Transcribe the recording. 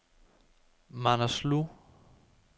Manaslu